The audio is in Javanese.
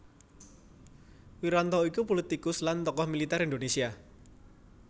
Wiranto iku pulitikus lan tokoh militer Indonésia